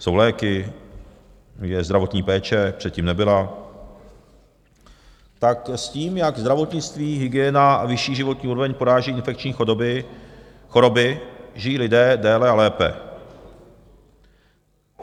Jsou léky, je zdravotní péče, předtím nebyla, tak s tím, jak zdravotnictví, hygiena a vyšší životní úroveň poráží infekční choroby, žijí lidé déle a lépe.